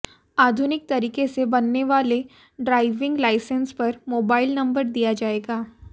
आधुनिक तरीके से बनने वाले ड्राइविंग लाइसेंस पर मोबाइल नंबर दिया जाएगा